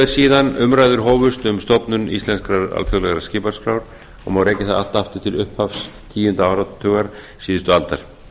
síðan umræður hófust um stofnun íslenskrar alþjóðlegrar skipaskrár og má rekja það allt aftur til upphafs tíunda áratugar síðustu aldar